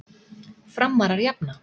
Framarar jafna.